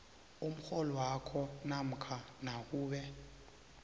umrholwakho namkha nakube